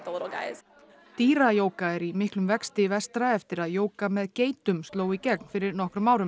dýra jóga er í miklum vexti vestra eftir að jóga með geitum sló í gegn fyrir nokkrum árum